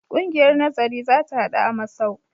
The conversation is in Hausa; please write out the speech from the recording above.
Ƙungiyar nazari za ta haɗu a masau.